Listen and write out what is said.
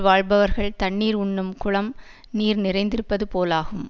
வாழ்பவர்கள் தண்ணீர் உண்ணும் குளம் நீர் நிறைந்திருப்பது போலாகும்